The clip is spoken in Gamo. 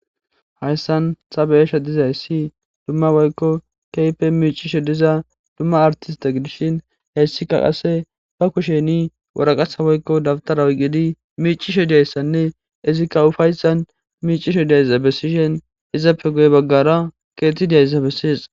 Hayssan sabeyesha dizay si dumma woykko keype miicisho diza dumma artista gidishin heessika qase ba kusheni woraqasa woykko dabtaraw gidi miicisho diyayssanne izikka ufaysan miicisho diayza bessishen izappe goy baggara keeti diayzabessis.